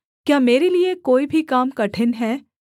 मैं तो सब प्राणियों का परमेश्वर यहोवा हूँ क्या मेरे लिये कोई भी काम कठिन है